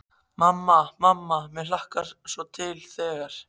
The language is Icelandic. Mamma, mamma mér hlakkar svo til þegar.